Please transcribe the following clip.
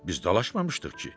Biz dalaşmamışdıq ki.